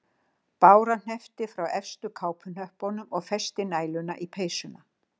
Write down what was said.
Bára hneppti frá efstu kápuhnöppunum og festi næluna í peysuna